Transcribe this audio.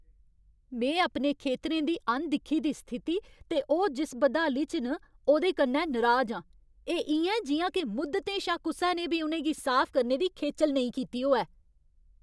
में अपने खेतरें दी अनदिक्खी दी स्थिति ते ओह् जिस बदहाली च न, ओह्दे कन्नै नराज आं। एह् इ'यां ऐ जि'यां के मुद्दतें शा कुसै ने बी उ'नें गी साफ करने दी खेचल नेईं कीती होऐ।